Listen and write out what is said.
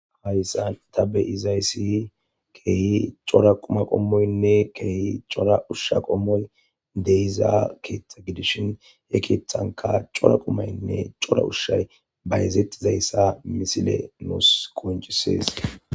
Hayssa tabe izayssi keehi cora quma qommoynne keehi cora ushsha qommoy deiza keeththa gidishin he keeththanka cora qumaynne cora ushshay bayezettizayssa misile nuus konciseese.